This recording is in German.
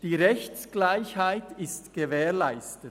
«Die Rechtsgleichheit ist gewährleistet.